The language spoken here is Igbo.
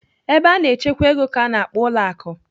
Ebe a na-echekwa ego ka a na-akpọ ụlọ akụ.